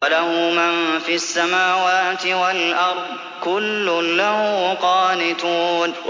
وَلَهُ مَن فِي السَّمَاوَاتِ وَالْأَرْضِ ۖ كُلٌّ لَّهُ قَانِتُونَ